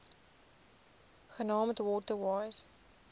genaamd water wise